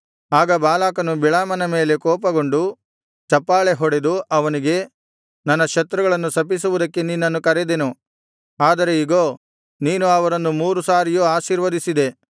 ಆಗ ಬಾಲಾಕನು ಬಿಳಾಮನ ಮೇಲೆ ಕೋಪಗೊಂಡು ಚಪ್ಪಾಳೆಹೊಡೆದು ಅವನಿಗೆ ನನ್ನ ಶತ್ರುಗಳನ್ನು ಶಪಿಸುವುದಕ್ಕೆ ನಿನ್ನನ್ನು ಕರೆದೆನು ಆದರೆ ಇಗೋ ನೀನು ಅವರನ್ನು ಮೂರು ಸಾರಿಯೂ ಆಶೀರ್ವದಿಸಿದೆ